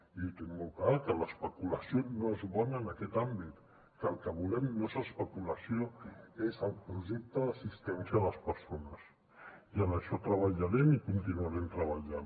i ho tinc molt clar que l’especulació no és bona en aquest àmbit que el que volem no és especulació és el projecte d’assistència a les persones i en això treballarem i continuarem treballant